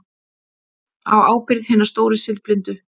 Á ábyrgð hinna stóru siðblindu.